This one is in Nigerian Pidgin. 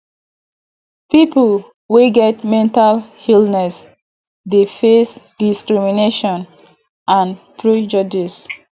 people wey get mental illness dey face discrimination and prejudice